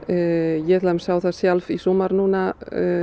ég til dæmis sá það sjálf í sumar núna